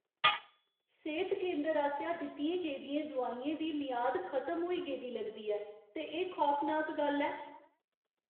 सेह्त केंदर आसेआ दित्तियें गेदियें दोआइयें दी मियाद खतम होई गेदी लगदी ऐ ते एह् खौफनाक गल्ल ऐ।